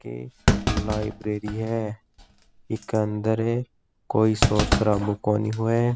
एक लाइब्रेरी है इक अंदर कोई सोर सराबा कोनी होव।